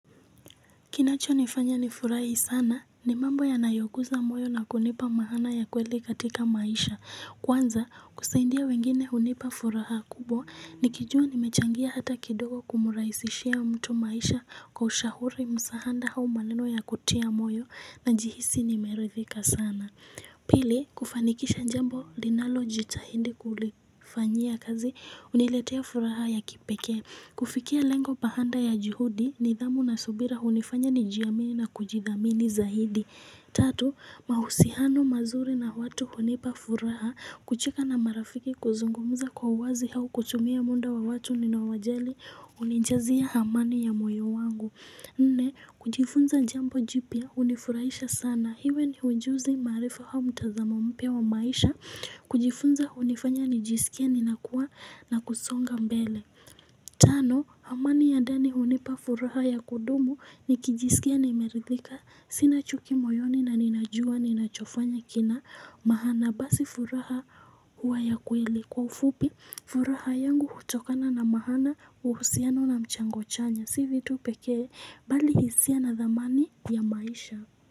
Kinachonifanya nifurahi sana ni mambo yanayoguza moyo na kunipa maana ya kweli katika maisha Kwanza kusaidia wengine hunipa furaha kubwa nikijua nimechangia hata kidogo kumurahisishia mtu maisha kwa ushauri msaada au maneno ya kutia moyo najihisi nimeridhika sana Pili kufanikisha jambo linalo jitahindi kulifanyia kazi huniletea furaha ya kipeke kufikia lengo baada ya juhudi nidhamu na subira hunifanya nijiamini na kujidhamini zaidi Tatu, mahusiano mazuri na watu hunipa furaha kucheka na marafiki kuzungumza kwa uwazi au kutumia muda wa watu ninaowajali hunijazia amani ya moyo wangu Nne, kujifunza jambo jipya hunifurahisha sana iwe ni ujuzi maarifa au mtazamo mpya wa maisha kujifunza hunifanya nijisikie ninakuwa na kusonga mbele Tano amani ya ndani hunipa furaha ya kudumu nikijisikia nimeridhika sina chuki moyoni na ninajua ninachofanya kina maana basi furaha huwa ya kweli kwa ufupi furaha yangu hutokana na maana uhusiano na mchango chanya si hivyo tu pekee bali hisia na dhamani ya maisha.